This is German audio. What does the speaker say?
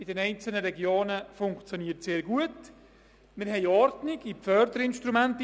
Sie haben die Kulturstrategie einstimmig zur Kenntnis genommen mit 127 Ja-Stimmen.